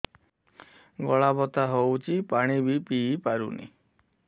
ଗଳା ବଥା ହଉଚି ପାଣି ବି ପିଇ ପାରୁନି